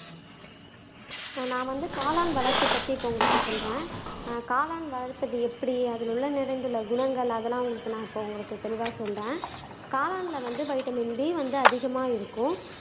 நான் வந்து காளான் வளர்ப்பு பற்றி இப்போ உங்களுக்கு சொல்றேன் நான் காளான் வளர்ப்பது எப்படி அதில் உள்ள நிறங்கள் குணங்கள் அதெல்லாம் உங்களுக்கு நான் இப்போ உங்களுக்கு தெளிவா சொல்றேன் காளான்ல வந்து வைட்டமின் டி வந்து அதிகமா இருக்கும்